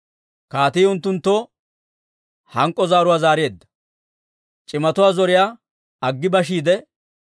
Kaatii unttunttoo hank'k'o zaaruwaa zaareedda. C'imatuwaa zoriyaa aggi bashiide,